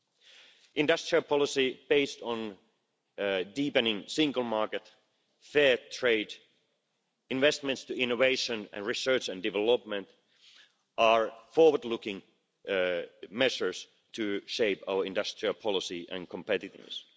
An industrial policy based on deepening the single market, fair trade, investment in innovation and research and development are forward looking measures to shape our industrial policy and competitiveness.